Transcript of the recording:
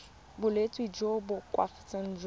bolwetsi jo bo koafatsang jo